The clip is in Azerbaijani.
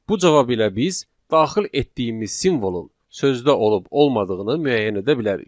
Bu cavab ilə biz daxil etdiyimiz simvolun sözdə olub-olmadığını müəyyən edə bilərik.